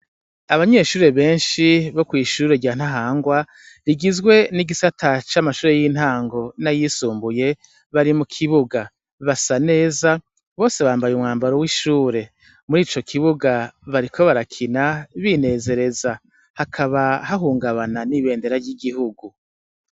Abanyeshure benshi bo kw' ishure rya ntahangwa rigizwe n' igisata c' amashure y' intango n' ayisumbuye, bari mu kibuga basa neza bose bambay' umwambaro w' ishure; murico kibuga, bariko barakina binezereza, hakaba hahungabana n' ibendera ry' igihugu.